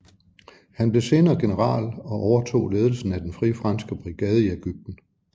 Han blev senere general og overtog ledelsen af den Frie Franske brigade i Ægypten